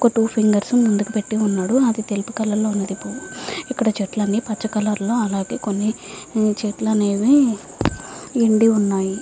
ఒక two fingers ముందుకి పెట్టి వున్నాడు. ఆది తెలుపు కలర్ లో ఉంది. చేట్టు లు అని పచ కలర్ లో వుంది అలాగే కొన్ని చేతుల్లు అనేవి నిండి వున్నాయ్.